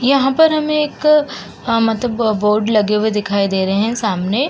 यहाँ पर हमें एक अ मतलब बोर्ड लगे हुए दिखाई दे रहे है सामने --